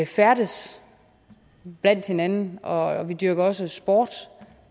færdes blandt hinanden og vi dyrker også sport